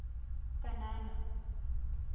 kanana